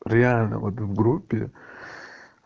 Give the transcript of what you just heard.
реально вот в группе